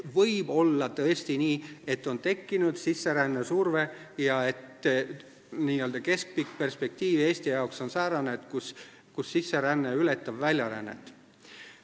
Võib tõesti olla nii, et on tekkinud sisserände surve ja keskpikk perspektiiv Eesti jaoks on säärane, kus sisseränne ületab väljarännet.